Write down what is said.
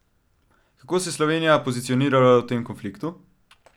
Kako se je Slovenija pozicionirala v tem konfliktu?